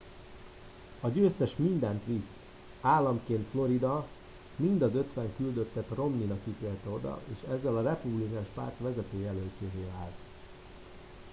a győztes mindent visz államként florida mind az ötven küldöttet romney nak ítélte oda és ezzel a republikánus párt vezető jelöltjévé vált